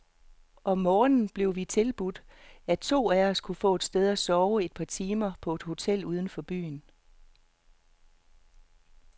Om morgenen, blev vi tilbudt, at to af os kunne få et sted at sove et par timer på hotel uden for byen.